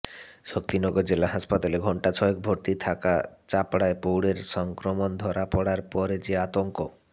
শক্তিনগর জেলা হাসপাতালে ঘণ্টা ছয়েক ভর্তি থাকা চাপড়ার প্রৌঢ়ের সংক্রমণ ধরা পড়ার পরে যে আতঙ্ক